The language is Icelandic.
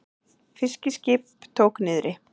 Fiskiskip tók niðri